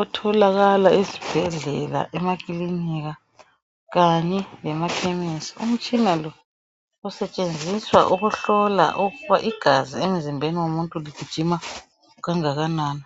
otholakala ezibhedlela, emakilinika, kanye. lemakhemesi. Umtshina lo usetshenziswa ukuhlola ukuthi igazi emzimbeni womuntu, ligijima kangakanani.